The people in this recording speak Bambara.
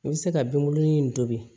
I bɛ se ka binkurunin in tobi